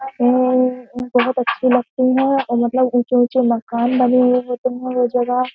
ये बहुत अच्छी लगती है और मतलब ऊंचे ऊंचे मकान बने हुए होते हैं वो जगह।